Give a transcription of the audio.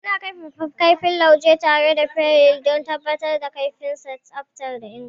Mukan kaifafa kaifin lauje tare da fayil don tabbatar da kaifinnsa, tsafta da inganci.